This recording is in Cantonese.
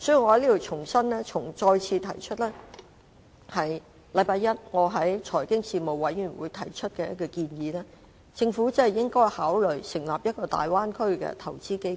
我在此重申我星期一在財經事務委員會曾提出的一個建議，便是政府應該考慮成立一個大灣區投資基金。